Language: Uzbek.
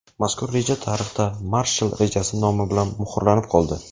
Mazkur reja tarixda Marshall rejasi nomi bilan muhrlanib qoldi.